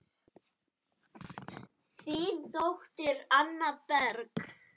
Þín dóttir, Anna Berg.